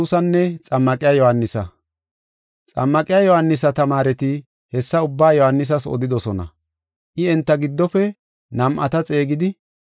Xammaqiya Yohaanisa tamaareti hessa ubbaa Yohaanisas odidosona. I enta giddofe nam7ata xeegidi,